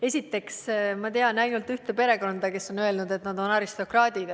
Esiteks, ma tean ainult ühte perekonda, kes on öelnud, et nad on aristokraadid.